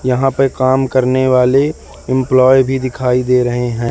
यहां पे काम करने वाले इंप्लाये भी दिखाई दे रहे है।